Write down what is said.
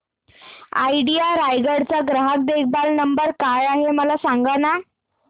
idea Raigad चा ग्राहक देखभाल नंबर काय आहे मला सांगाना